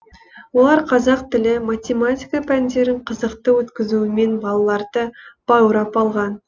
олар қазақ тілі математика пәндерін қызықты өткізуімен балаларды баурап алған